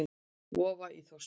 Vofa í Þórsmörk.